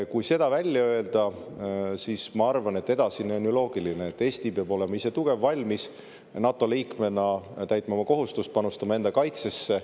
Kui see välja öelda, siis ma arvan, et edasine on ju loogiline: Eesti peab olema ise tugev, valmis NATO liikmena täitma oma kohustust, panustama enda kaitsesse.